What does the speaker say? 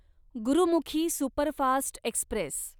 Gurmukhi superfast Express